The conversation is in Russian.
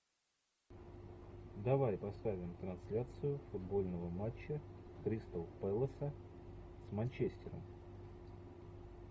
давай поставим трансляцию футбольного матча кристал пэлоса с манчестером